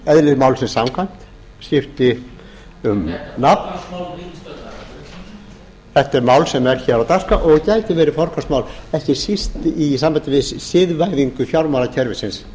eðli málsins samkvæmt skipti um nafn þetta er mál sem er hér á dagskrá og gæti verið forgangsmál ekki síst í sambandi við siðvæðingu fjármálakerfisins